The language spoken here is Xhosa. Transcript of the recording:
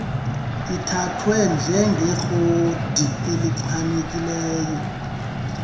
ithathwe njengerekhodi elichanekileyo